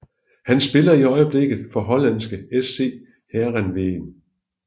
Han spiller i øjeblikket for hollandske SC Heerenveen